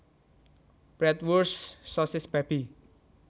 Bratwurst sosis babi